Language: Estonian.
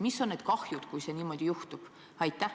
Milline on see kahju, kui niimoodi juhtub?